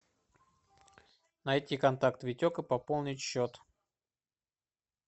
найти контакт витек и пополнить счет